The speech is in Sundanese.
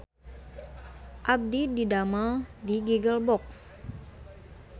Abdi didamel di Giggle Box